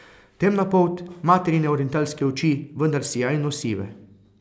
Temna polt, materine orientalske oči, vendar sijajno sive.